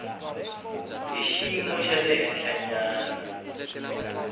hi xiyimo xa le henhlanyana